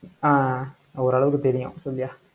ஆஹ் அஹ் ஓரளவுக்கு தெரியும், சொல்லுய்யா